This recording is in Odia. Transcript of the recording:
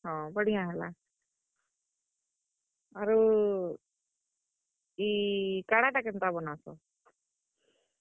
ହଁ, ବଢିଆଁ ହେଲା, ଆରୁ, ଇ କାଢା ଟା କେନ୍ତା ବନାସ?